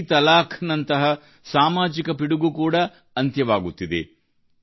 ತ್ರಿವಳಿ ತಲಾಖ್ ನಂತಹ ಸಾಮಾಜಿಕ ಪಿಡುಗು ಕೂಡಾ ಅಂತ್ಯವಾಗುತ್ತಿದೆ